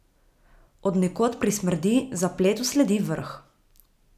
Od nekod prismrdi, zapletu sledi vrh.